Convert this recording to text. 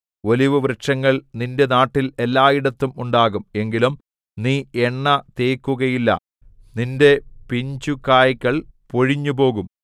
ഒലിവുവൃക്ഷങ്ങൾ നിന്റെ നാട്ടിൽ എല്ലായിടത്തും ഉണ്ടാകും എങ്കിലും നീ എണ്ണ തേക്കുകയില്ല അതിന്റെ പിഞ്ചുകായ്കൾ പൊഴിഞ്ഞുപോകും